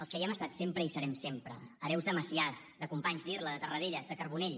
els que hi hem estat sempre i hi serem sempre hereus de macià de companys d’irla de tarradellas de carbonell